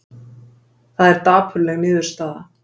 Það er dapurleg niðurstaða